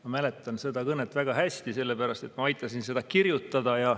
Ma mäletan seda kõnet väga hästi, sellepärast et ma aitasin seda kirjutada.